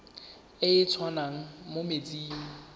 e e tswang mo metsing